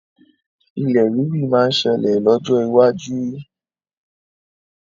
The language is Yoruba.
Ilẹ̀ rírì máa ṣẹlẹ̀ lọ́jọ́ iwájú.